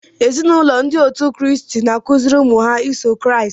Ézì na ụlọ ndị òtù Christ n'akụziri ụmụ ha iso Christ.